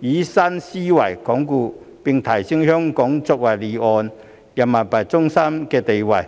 以新思維鞏固和提升香港作為離岸人民幣中心的地位。